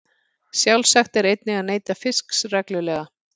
Sjálfsagt er einnig að neyta fisks reglulega.